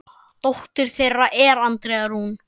Dóttir þeirra er Andrea Rún.